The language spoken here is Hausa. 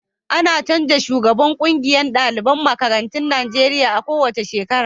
A na canja shugaban ƙungiyar daliban makarantun Najeriya a ko wace shekara